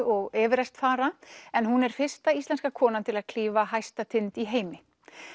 og Everest fara en hún er fyrsta íslenska konan til að klífa hæsta tind í heimi